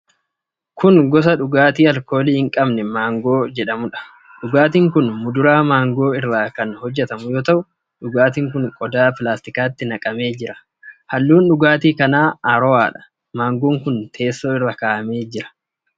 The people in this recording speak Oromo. Kun gosa dhugaati alkoolii hin qabne mangoo jedhamuudha. Dhugaatiin kun muduraa maangoo irraa kan hojjatamu yoo ta'u, dhugaatiin kun qodaa pilaastikaatti naqamee jira. Halluun dhugaatii kana arrowadha. Maangoon kun teessoo irra kaa'amee jira.